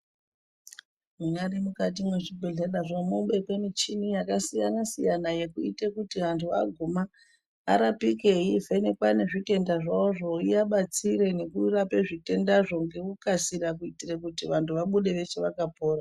Munyari mukati mwe zvibhehlerazvo mobekwe muchini yakasiyana siyana yekuite kuti antu aguma arapike ,yeivhenekwa nezitendazvavizvo iyabatsire nekurapa zvitendazvo nekukasira kuitire kuti vantu abude veshe vakapona.